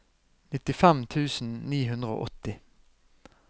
nittifem tusen ni hundre og åtti